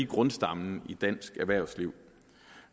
grundstammen i dansk erhvervsliv